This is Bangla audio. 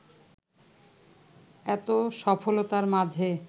এতো সফলতার মাঝে